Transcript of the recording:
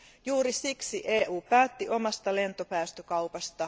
Juuri siksi EU päätti omasta lentopäästökaupasta.